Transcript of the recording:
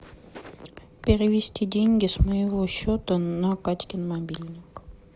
перевести деньги с моего счета на катькин мобильник